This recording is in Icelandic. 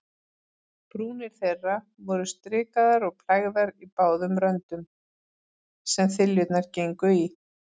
Brúnir þeirra voru strikaðar og plægðar í báðum röndum, sem þiljurnar gengu í.